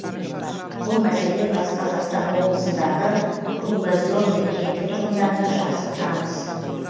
бұл мәселе бқо дағы круглозерный кенті тұрғындарына жақсы таныс